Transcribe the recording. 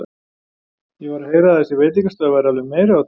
Ég var að heyra að þessi veitingastaður væri alveg meiriháttar!